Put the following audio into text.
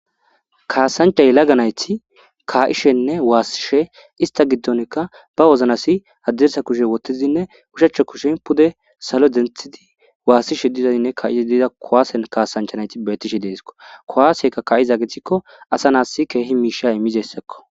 kaasanchay laganayti ka7ishenne waassishe ista giddonkka ba woznasi addirsa kushe wottizinne ushachcho kushin pude salo denthidi waassishe dizadinne ka7ii diida kowaasen kaasanchanayti betishe deeskko kowaaseykka ka7iza gethikko asa naassi keehi miisha imizessakko